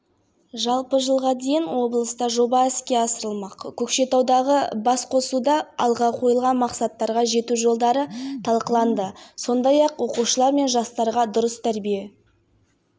бұл қаржыға өңірдегі бірқатар тарихи-мәдени және әлеуметтік нысан қалпына келтіріледі мерген тоқсанбай жұмабаев атындағы облыстық кітапхана